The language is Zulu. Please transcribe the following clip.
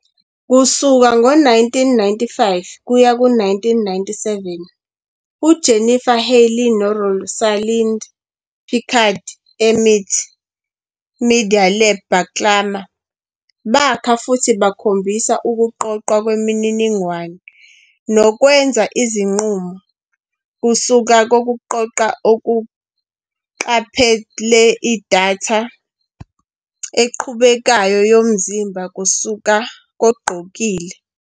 Kusuka ngo-1995-1997, uJennifer Healey noRosalind Picard eMIT Media Lab baklama, bakha futhi bakhombisa ukuqoqwa kwemininingwane nokwenza izinqumo kusuka kokugqoka okuqaphele idatha eqhubekayo yomzimba kusuka kogqokile.